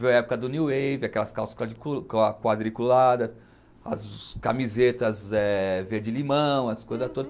Foi a época do New Wave, aquelas calças quadriculadas, as camisetas é verde-limão, as coisas todas.